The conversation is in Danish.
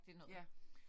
Ja